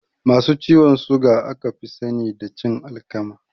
Masu ciwon suga aka fi sani da cin alkama